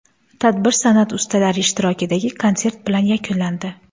Tadbir san’at ustalari ishtirokidagi konsert bilan yakunlandi.